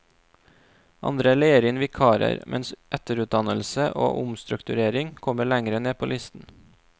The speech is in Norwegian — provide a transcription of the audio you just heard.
Andre leier inn vikarer, mens etterutdannelse og omstrukturering kommer lenger ned på listen.